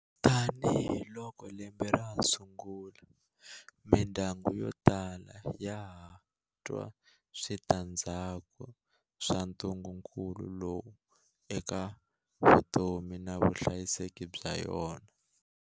Tanihiloko lembe ra ha sungula, mindyangu yo tala ya ha twa switandzhaku swa ntungu-kulu lowu eka vutomi na vutihanyisi bya yona.